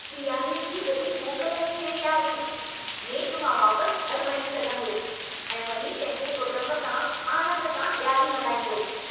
ॾियारीअ जी वॾी मोकल अची रही आहे। नेठु मां वापस घरि वञी सघंदुसि ऐं वञी पंहिंजे कुटुंब सां आनंद सां ॾियारी मल्हाईंदुसि।